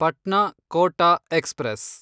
Patna Kota express